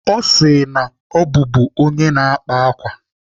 Ọ sị m na ọ bụbu onye na-akpa ákwà.